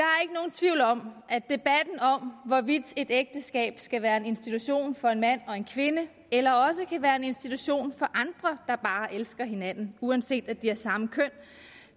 tvivl om at debatten om hvorvidt et ægteskab skal være en institution for en mand og en kvinde eller også kan være en institution for andre der bare elsker hinanden uanset at de har samme køn